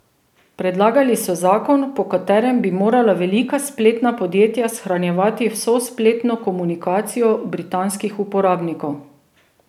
Predlagali so zakon, po katerem bi morala velika spletna podjetja shranjevati vso spletno komunikacijo britanskih uporabnikov.